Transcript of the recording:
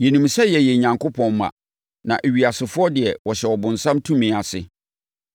Yɛnim sɛ yɛyɛ Onyankopɔn mma, na ewiasefoɔ deɛ wɔhyɛ ɔbonsam tumi ase.